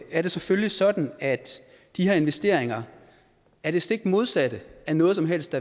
er det selvfølgelig sådan at de her investeringer er det stik modsatte af noget som helst